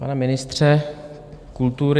Pane ministře kultury...